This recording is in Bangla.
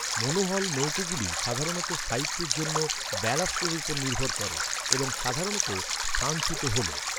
মোনোহল নৌকাগুলি সাধারণত স্থায়িত্বের জন্য ব্যালাস্টের উপর নির্ভর করে এবং সাধারণত স্থানচ্যুত হল।